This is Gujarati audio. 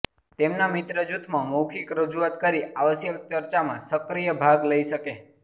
તેમના મિત્ર જૂથમાં મૌખિક રજૂઆત કરી આવશ્યક ચર્ચામાં સક્રિય ભાગ લઈ શકે